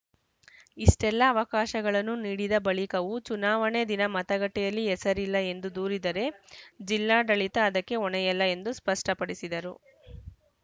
ಇಷ್ಟೆಲ್ಲಾ ಅವಕಾಶಗಳನ್ನು ನೀಡಿದ ಬಳಿಕವೂ ಚುನಾವಣೆ ದಿನ ಮತಗಟ್ಟೆಯಲ್ಲಿ ಹೆಸರಿಲ್ಲ ಎಂದು ದೂರಿದರೆ ಜಿಲ್ಲಾಡಳಿತ ಅದಕ್ಕೆ ಹೊಣೆಯಲ್ಲ ಎಂದು ಸ್ಪಷ್ಟಪಡಿಸಿದರು